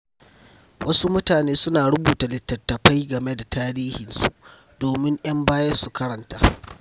Wasu mutane suna rubuta littattafai game da tarihinsu don ‘yan baya su karanta.